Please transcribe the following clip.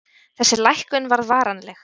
Þessi lækkun varð varanleg.